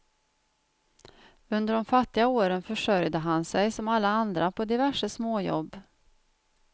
Under de fattiga åren försörjde han sig som alla andra på diverse småjobb.